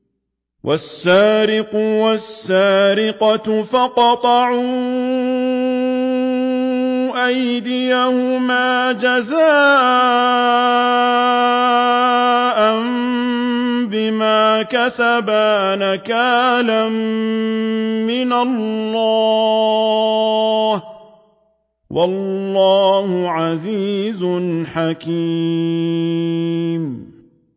وَالسَّارِقُ وَالسَّارِقَةُ فَاقْطَعُوا أَيْدِيَهُمَا جَزَاءً بِمَا كَسَبَا نَكَالًا مِّنَ اللَّهِ ۗ وَاللَّهُ عَزِيزٌ حَكِيمٌ